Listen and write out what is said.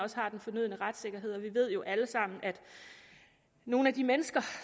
har den fornødne retssikkerhed vi ved jo alle sammen at nogle af de mennesker